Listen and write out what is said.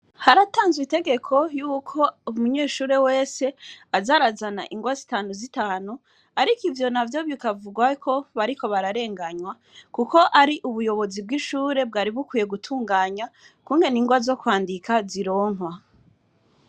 Haratanzwe itegeko yuko umunyeshure wese aza arazana ingawa zitanu zitanu, ariko ivyo navyo bikavugwa ko bariko bararenganywa, kuko ari ubuyobozi bw'ishuri bwari bukwiye gutunganya ,ukungene ingwa zo kwandika zironkwa.